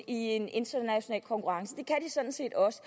i en international konkurrence det kan de sådan set også